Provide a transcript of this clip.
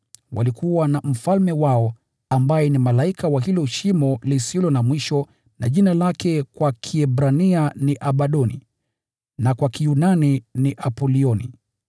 Walikuwa na mfalme wao, ambaye ni malaika wa lile Shimo, ambaye jina lake kwa Kiebrania ni Abadoni, na kwa Kiyunani ni Apolioni.